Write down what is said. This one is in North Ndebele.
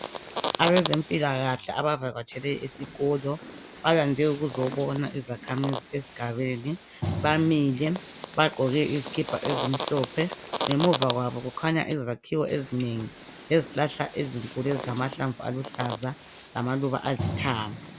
Abezempilakahle abavakatshele esikolo balande ukuzobona izakhamizi esigabeni , bamile bagqoke izikipa ezimhlophe ngemuva kwabo kukhanya izakhiwo ezinengi lezihlahla ezinkulu ezilamahlamvu aluhlaza lamaluba alithanga.